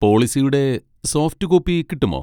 പോളിസിയുടെ soft copy കിട്ടുമോ?